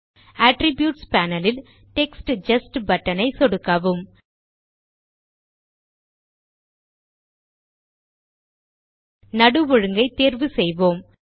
attributes panel ல் text just button ஐ சொடுக்கவும் நடு ஒழுங்கை தேர்வு செய்வோம்